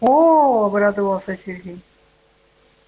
оо обрадовался сергей